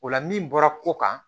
O la min bɔra ko kan